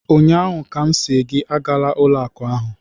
Ụnyaahụ ka m sị gị agala ụlọ akụ ahụ!